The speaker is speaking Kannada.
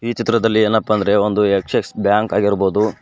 ಈ ಚಿತ್ರದಲ್ಲಿ ಏನಪ್ಪ ಅಂದ್ರೆ ಒಂದು ಆಕ್ಸಿಸ್ ಬ್ಯಾಂಕ್ ಆಗಿರ್ಬಹುದು.